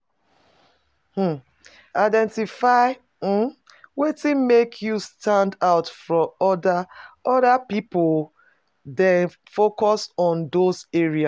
um Identify um wetin make you stand out from oda oda pipo then focus on those areas